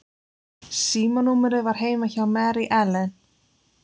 Símanúmerið var heima hjá Mary Ellen.